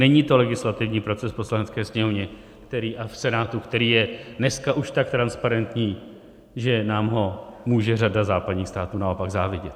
Není to legislativní proces v Poslanecké sněmovně a v Senátu, který je dneska už tak transparentní, že nám ho může řada západních států naopak závidět.